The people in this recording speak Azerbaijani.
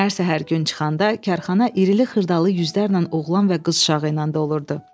Hər səhər gün çıxanda karxana irili-xırdalı yüzlərlə oğlan və qız uşağı ilə dolurdu.